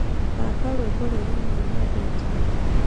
thaka rwĩmbo rũrĩa nĩĩ nyendete